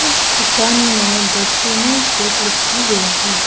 उस दुकान में द चेन्नई शेक लिखा हुआ है।